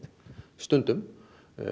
stundum